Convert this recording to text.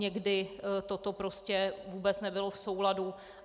Někdy to prostě vůbec nebylo v souladu.